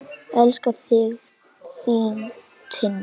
Elska þig, þín Tinna.